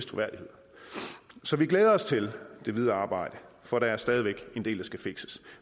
troværdighed så vi glæder os til det videre arbejde for der er stadig væk en del der skal fikses